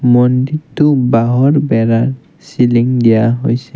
মন্দিৰটো বাঁহৰ বেৰা চিলিং দিয়া হৈছে।